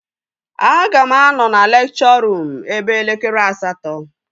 Aga m anọ na lekchọ ruum eve elekere asatọ